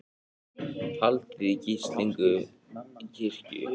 Haldið í gíslingu í kirkju